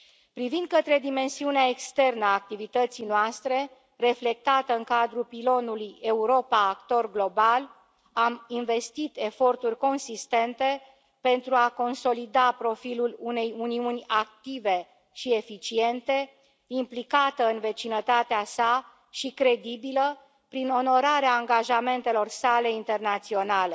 Privind către dimensiunea externă a activității noastre, reflectată în cadrul pilonului Europa, actor global, am investit eforturi consistente pentru a consolida profilul unei Uniuni active și eficiente, implicată în vecinătatea sa și credibilă prin onorarea angajamentelor sale internaționale.